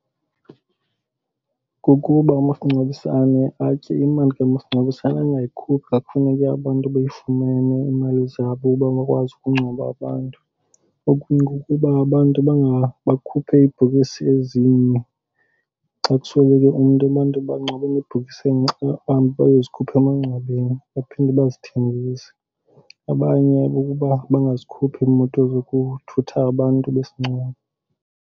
Kukuba umasingcwabisane atye imali kamasingcwabisane angayikhuphi xa kufuneke abantu beyifumene iimali zabo bangakwazi ukungcwaba abantu. Okunye kukuba abantu bakhuphe iibhokisi ezinye, xa kusweleke umntu abantu bangcwabele ebhokisini enye bahambe bayozikhupha emangcwabeni, baphinde bazithengise. Abanye kukuba bangazikhuphi iimoto zokuthutha abantu besingcwabo.